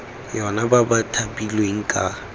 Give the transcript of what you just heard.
yona ba ba thapilweng ka